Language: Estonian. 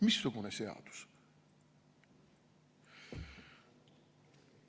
Missugune seadus?